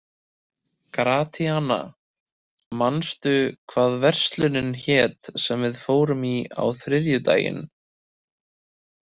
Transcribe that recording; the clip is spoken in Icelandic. Gratíana, manstu hvað verslunin hét sem við fórum í á þriðjudaginn?